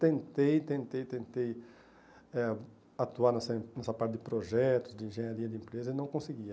Tentei, tentei, tentei eh atuar nessa nessa parte de projetos, de engenharia de empresa e não conseguia.